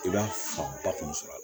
I b'a fanba kun sɔrɔ